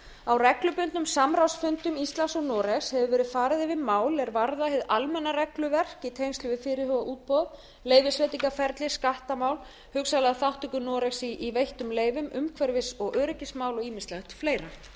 á reglubundnum samráðsfundum íslands og noregs hefur verið farið yfir mál er varða hið almenna regluverk í tengslum við fyrirhugað útboð leyfisveitingaferli skattamál hugsanlega þátttöku noregs í veittum leyfum umhverfis og öryggismál og ýmislegt